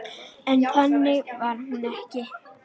En þannig var hún ekki.